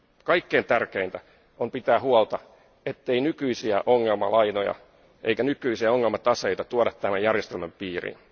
Kaikkein tärkeintä on pitää huolta, ettei nykyisiä ongelmalainoja eikä nykyisiä ongelmataseita tuoda tämän järjestelmän piiriin.